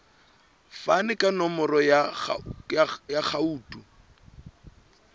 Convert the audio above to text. fane ka nomoro ya akhauntu